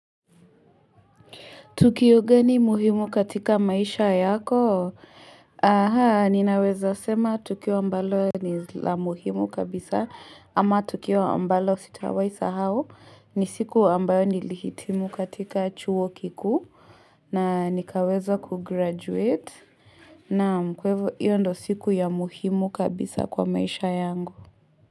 Tukio gani muhimu katika maisha yako? Aha, ninaweza sema tukio ambalo ni la muhimu kabisa ama tukio ambalo sitawai sahau ni siku ambayo nilihitimu katika chuo kikuu na nikaweza kugraduate naam kwa hivi iyo ndo siku ya muhimu kabisa kwa maisha yangu.